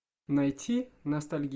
найти ностальгия